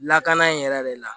Lakana in yɛrɛ de la